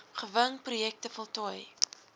gewing projekte voltooi